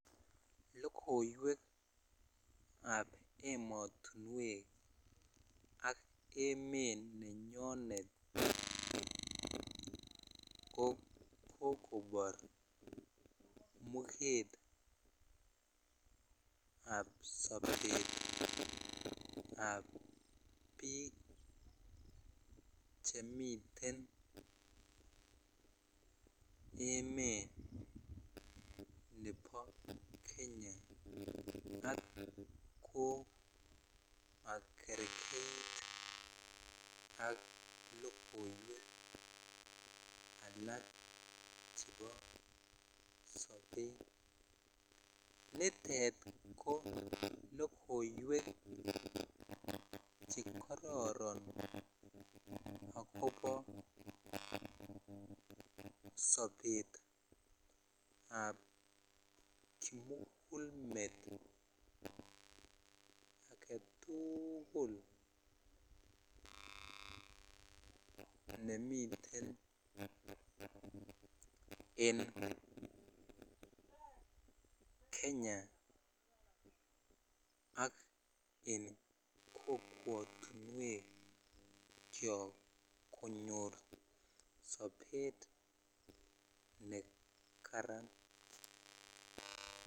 Lokoiwek ab ematuwek ak emet nenyonet ko kokobor muket ab sobet ab biik chemiten emet nebo Kenya tukul kokerkeit ak lokoiwek alak chebo sobet nitet ko lokoiwek chekororon akobo sobetab kimukulmet agetukul nemuten en Kenya ak en kokwotuwek chok konyor sobet ne Karen.